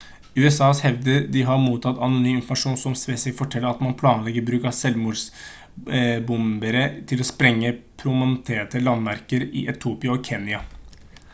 usa hevder de har mottatt anonym informasjon som spesifikt forteller at man planlegger bruk av selvmordsbombere til å sprenge «prominente landemerker» i etiopia og kenya